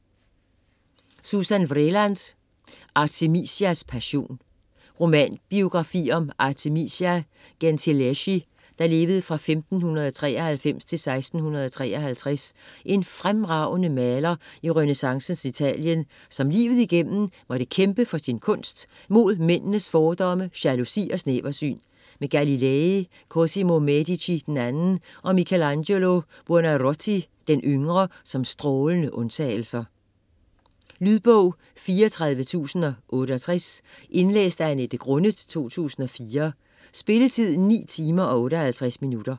Vreeland, Susan: Artemisias passion Romanbiografi om Artemisia Gentileschi (1593-1653), en fremragende maler i renæssancens Italien, som livet igennem måtte kæmpe for sin kunst mod mændenes fordomme, jalousi og snæversyn - med Galilei, Cosimo Medici II og Michelangelo Buonarroti d.y. som strålende undtagelser. Lydbog 34068 Indlæst af Annette Grunnet, 2004. Spilletid: 9 timer, 58 minutter.